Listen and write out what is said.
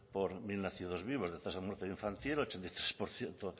por mil nacidos vivos de tasa de muerte infantil ochenta